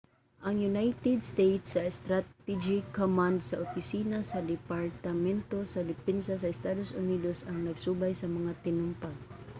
ang united states strategic command sa opisina sa departamento sa depensa sa estados unidos ang nagsubay sa mga tinumpag